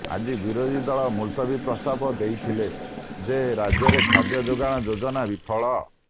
ଆଜି ବିେରାଧୀ ଦଳ ମୁଲତବୀ ପ୍ରସ୍ତାବ େଦଇଥିେଲ େଯ ରାଜ୍ୟରେ ଖାଦ୍ୟ ସୁରକ୍ଷା େଯାଜନା ବିଫଳ